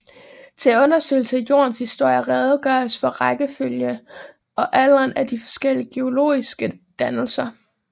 Til undersøgelse af Jordens historie redegøres for rækkefølgen og alderen af de forskellige geologiske dannelser